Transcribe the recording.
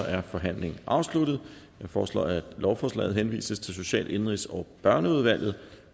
er forhandlingen afsluttet jeg foreslår at lovforslaget henvises til social indenrigs og børneudvalget